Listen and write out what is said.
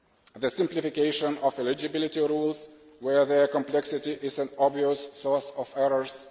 the simplification of eligibility rules where their complexity is an obvious source of errors